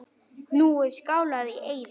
Nú eru Skálar í eyði.